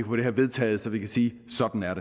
få det her vedtaget så vi kan sige sådan er